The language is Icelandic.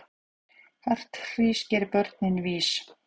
Hart hrís gerir börnin vís.